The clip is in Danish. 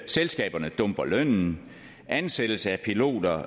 selskaberne dumper lønnen og ansættelse af piloter